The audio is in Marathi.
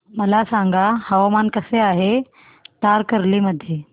मला सांगा हवामान कसे आहे तारकर्ली मध्ये